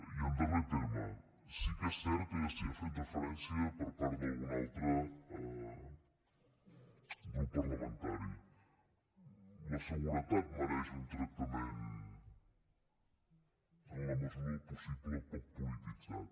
i en darrer terme sí que és cert que s’hi ha fet referència per part d’algun altre grup parlamentari la seguretat mereix un tractament en la mesura del possible poc polititzat